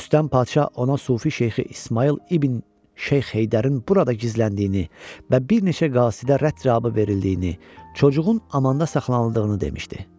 Rüstəm Padşah ona Sufi Şeyxi İsmayıl İbn Şeyx Heydərin burada gizləndiyini və bir neçə qasidə rədd cavabı verildiyini, çocuğun amanda saxlanıldığını demişdi.